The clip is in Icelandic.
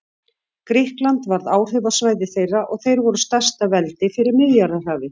Grikkland varð áhrifasvæði þeirra og þeir voru stærsta veldi fyrir Miðjarðarhafi.